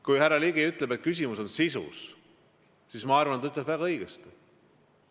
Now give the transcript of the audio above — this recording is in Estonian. Kui härra Ligi ütles, et küsimus on sisus, siis ma arvan, et ta ütles väga õigesti.